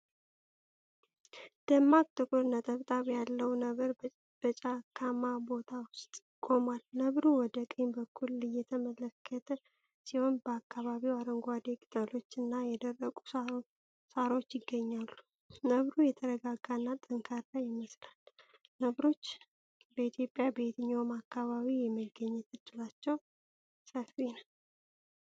ደማቅ ጥቁር ነጠብጣብ ያለው ነብር በጫካማ ቦታ ውስጥ ቆሟል። ነብሩ ወደ ቀኝ በኩል እየተመለከተ ሲሆን በአካባቢው አረንጓዴ ቅጠሎችና የደረቁ ሣሮች ይገኛሉ። ነብሩ የተረጋጋና ጠንካራ ይመስላል። ነብሮች በኢትዮጵያ በየትኛው አካባቢ የመገኘት ዕድላቸው ሰፊ ነው?